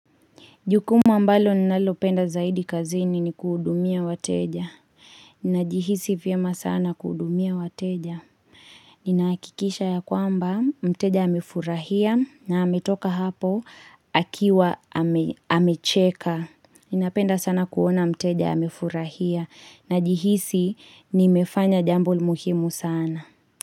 Jukumu ambalo ninalopenda zaidi kazini ni kuhudumia wateja. Ninajihisi vyema sana kuhudumia wateja. Ninahakikisha ya kwamba mteja amefurahia na ametoka hapo akiwa amecheka. Ninapenda sana kuona mteja amefurahia na jihisi nimefanya jambo la muhimu sana.